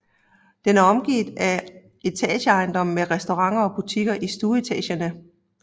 Den er omgivet af etageejendomme med restauranter og butikker i stueetagerne